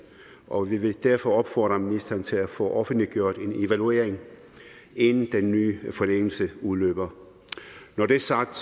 og vi vil derfor opfordre ministeren til at få offentliggjort en evaluering inden den nye forlængelse af udløber når det er sagt